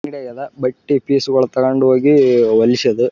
ಅದೇ ಮಕ್ಕಳಿಗೂ ಕೊಡ್ಸಿದ್ದು ನಾನು ತೊಗೊಂಡಿದ್ದೆ. ತುಂಬಾ ತೊಗೊಂಡ್ ಬಂದಿದ್ದು. ವಾ--